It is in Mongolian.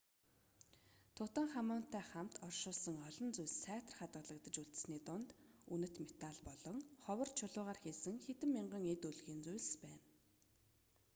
тутанхамунтай хамт оршуулсан олон зүйлс сайтар хадгалагдаж үлдсэний дунд үнэт металл болон ховор чулуугаар хийсэн хэдэн мянган эд өлгийн зүйл байна